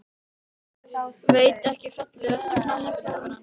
Veit ekki Fallegasta knattspyrnukonan?